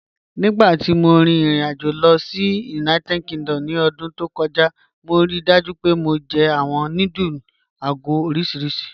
Nígbàtí mó rí irin-àjò lọ sí United Kingdom ní ọdún tó kọja, mó ríì dájú pé mó jẹ̀ awọn nùdúlù àgọ̀ oriṣíríṣì.